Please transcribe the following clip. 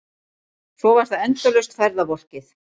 Svo var það endalaust ferðavolkið.